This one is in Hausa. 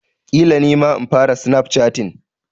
Ƙila nima in fara snap chatting.